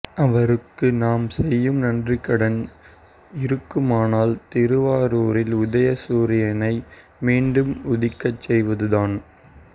அவருக்கு நாம் செய்யும் நன்றிக்கடன் இருக்குமானால் திருவாரூரில் உதய சூரியனை மீண்டும் உதிக்கச் செய்வதுதான்